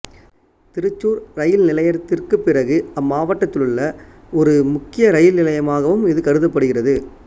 திருச்சூர் இரயில் நிலையத்திற்குப் பிறகு அம்மாவட்டத்திலுள்ள உள்ள ஒரு முக்கிய இரயில் நிலையமாகவும் இது கருதப்படுகிறது